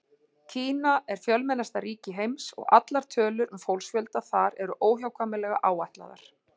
Kína er fjölmennasta ríki heims og allar tölur um fólksfjölda þar eru óhjákvæmilega áætlaðar.